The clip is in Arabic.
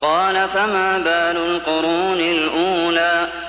قَالَ فَمَا بَالُ الْقُرُونِ الْأُولَىٰ